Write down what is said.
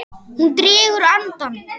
Hún dregur andann.